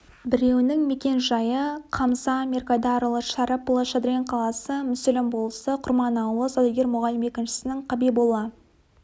біреуінің мекенжайы қамза меркайдарұлы шәріпұлы шадрин қаласы мүсілім болысы құрман ауылы саудагер мұғалім екіншісінің қабиболла